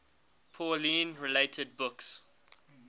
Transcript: pauline related books